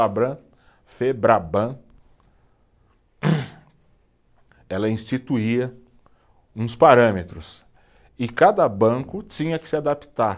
Febraban, ela instituía uns parâmetros e cada banco tinha que se adaptar.